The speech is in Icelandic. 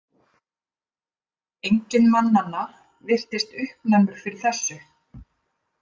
Enginn mannanna virtist uppnæmur fyrir þessu.